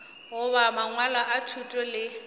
goba mangwalo a thuto le